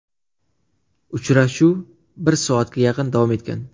Uchrashuv bir soatga yaqin davom etgan.